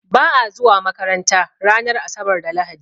Ba'a zuwa makaranta ranar asabar da lahadi